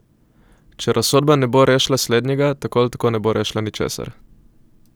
Če razsodba ne bo rešila slednjega, tako ali tako ne bo rešila ničesar!